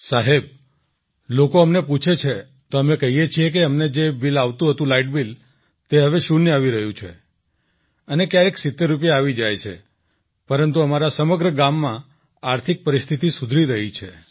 સાહેબ લોકો અમને પૂછે તો અમે કહીએ છીએ કે અમને જે બિલ આવતું હતું લાઇટ બિલ તે હવે શૂન્ય આવી રહ્યું છે અને ક્યારેક ૭૦ રૂપિયા આવી જાય છે પરંતુ અમારા સમગ્ર ગામમાં આર્થિક પરિસ્થિતિ સુધરી રહી છે